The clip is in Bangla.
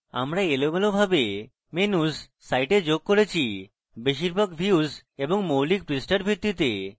আমরা এলোমেলোভাবে menus site যোগ করেছি বেশিরভাগ views এবং মৌলিক পৃষ্ঠার ভিত্তিতে